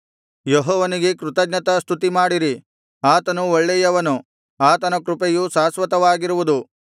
ಯೆಹೋವನಿಗೆ ಕೃತಜ್ಞತಾಸ್ತುತಿಮಾಡಿರಿ ಆತನು ಒಳ್ಳೆಯವನು ಆತನ ಕೃಪೆಯು ಶಾಶ್ವತವಾಗಿರುವುದು